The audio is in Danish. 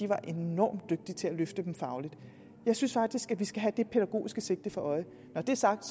var enormt dygtig til at løfte dem fagligt jeg synes faktisk at vi skal have det pædagogiske sigte for øje når det er sagt